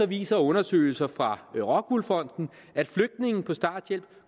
viser undersøgelser fra rockwool fonden at flygtninge på starthjælp